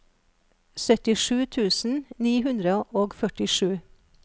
syttisju tusen ni hundre og førtisju